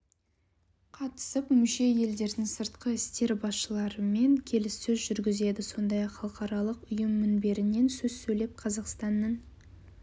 қатысып мүше елдердің сыртқы істер басшыларымен келіссөз жүргізеді сондай-ақ халықаралық ұйым мінберінен сөз сөйлеп қазақстанның